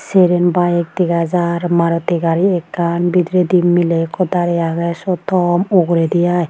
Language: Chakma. cheren bayek dega jar Maruti gari ekkan bidiredi miley ikko darey agey syot tom uguredi ai.